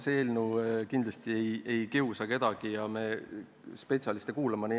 See eelnõu kindlasti ei kiusa kedagi ja me kuulame spetsialiste.